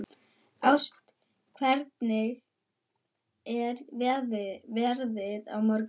Ást, hvernig er veðrið á morgun?